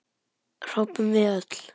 hrópum við öll.